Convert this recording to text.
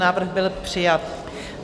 Návrh byl přijat.